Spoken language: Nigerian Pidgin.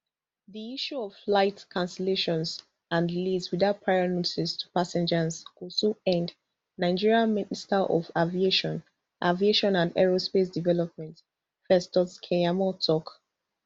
di issue of flight cancellations and delays without prior notice to passengers go soon end nigeria minister of aviation aviation and aerospace development festus keyamo tok